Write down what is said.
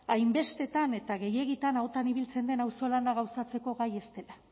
hainbestetan eta gehiegitan ahotan ibiltzen den auzo lana gauzatzeko gai ez dela